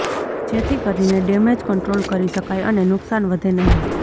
જેથી કરીને damage control કરી શકાય અને નુંકસાન વધે નહીં